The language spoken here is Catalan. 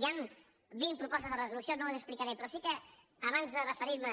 hi han vint propostes de resolució no les explicaré però sí que abans de referir·me